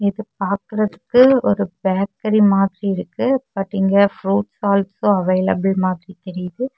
இது பாக்குறதுக்கு ஒரு பேக்கரி மாதிரி இருக்கு பட் இங்க ப்ரூட்ஸ் ஆல்சோ அவைலபில் மாதிரி தெரியுது.